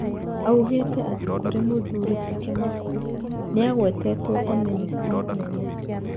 Augĩte atĩ kũrĩ mũthuri ti Kĩmaku, nĩ agwetetwo ta mĩnĩcita mũnene.